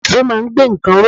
Ìṣó máa ń gbé nǹkan ró.